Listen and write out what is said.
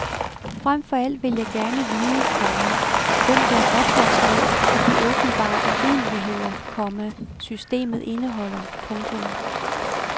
Frem for alt vil jeg gerne vide, komma hvem der er ophavsmænd til de åbenbare urimeligheder, komma systemet indeholder. punktum